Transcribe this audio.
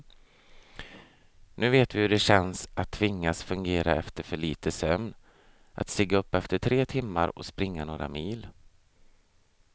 Nu vet vi hur det känns att tvingas fungera efter för lite sömn, att stiga upp efter tre timmar och springa några mil.